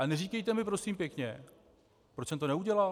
Ale neříkejte mi prosím pěkně, proč jsem to neudělal?